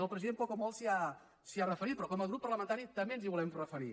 el president poc o molt s’hi ha referit però com a grup parlamentari també ens hi volem referir